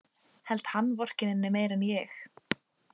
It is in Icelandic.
Held hann vorkenni henni meira en ég.